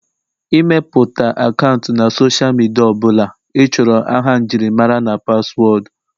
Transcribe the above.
ịmepụta akaụntụ na Sọsha midia ọ bụla ịchọrọ aha njirimara na paswọọdụ